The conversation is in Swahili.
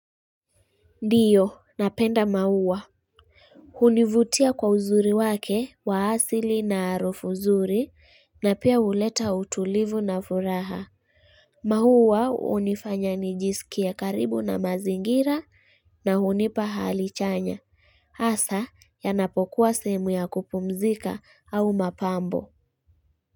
Ndiyo napenda maua hunivutia kwa uzuri wake wa asili na arufu zuri na pia huleta utulivu na furaha maua hunifanya nijisikie karibu na mazingira na hunipa hali chanya Asa yanapokuwa sehemu ya kupumzika au mapambo.